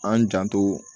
An janto